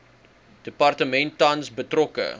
departement tans betrokke